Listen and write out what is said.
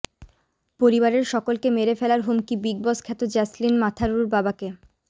পরিবারের সকলকে মেরে ফেলার হুমকি বিগ বস খ্যাত জ্যাসলিন মাথারুর বাবাকে